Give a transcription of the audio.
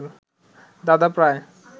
দাদা প্রায়